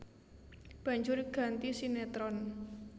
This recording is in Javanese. Banjur ganti sinétron